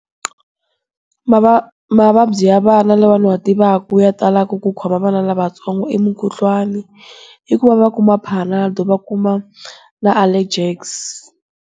Mavabyi ya vana lawa ni wa tivaka ya talaka ku khoma vana lavatsongo i mukhuhlwani. I ku va va kuma Panado va kuma na Allegex.